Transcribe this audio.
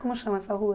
Como chama essa rua?